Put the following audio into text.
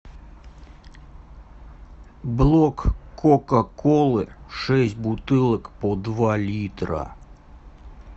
блок кока колы шесть бутылок по два литра